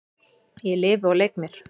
Ég lifi og leik mér.